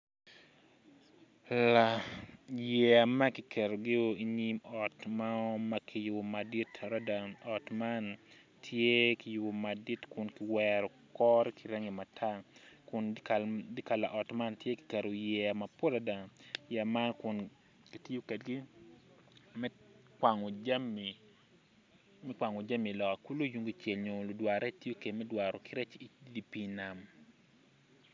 Yeya ma kiketogi inyim ot mo ma kiyubo madit adada ot man tye kiyubo madit kun kiwero kore ki rangi matar kun dikal pa ot man tye kiketo yeya mapol adada yeya man kun kitiyo kwedgi me kwango jami loka kulo tung kucel nyo ludwar rec tiyo kwede me dwaro ki rec idi pii nam.